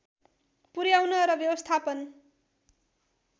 पुर्‍याउन र व्यवस्थापन